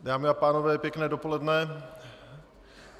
Dámy a pánové, pěkné dopoledne.